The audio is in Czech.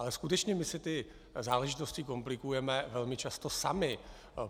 Ale skutečně my si ty záležitosti komplikujeme velmi často sami.